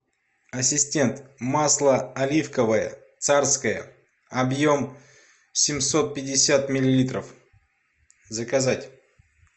ассистент масло оливковое царское объем семьсот пятьдесят миллилитров заказать